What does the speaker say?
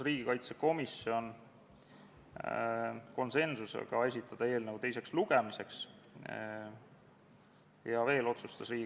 Esimene päevakorrapunkt on energiamajanduse korralduse seaduse muutmise seaduse eelnõu 48 kolmas lugemine.